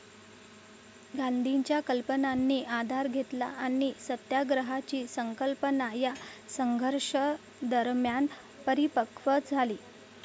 गांधींच्या कल्पनांनी आधार घेतला आणि सत्याग्रहाची संकल्पना या संघर्षादरम्यान परिपकव् झाली.